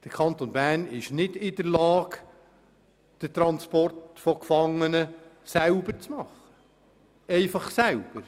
Der Kanton Bern ist nicht in der Lage, den Transport von Gefangenen selbst durchzuführen.